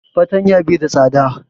Fartanya bai da tsada